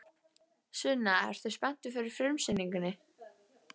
Sunna: Ertu spenntur fyrir frumsýningu?